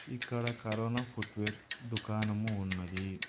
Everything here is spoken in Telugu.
ఇక్కడ కరోనా ఫుట్ వేర్ దుకాణం ఉన్నది.